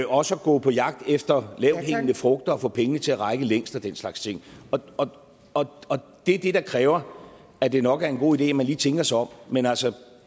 også at gå på jagt efter lavthængende frugter og få pengene til at række længst og den slags ting og og det er det der kræver at det nok er en god idé at man lige tænker sig om men altså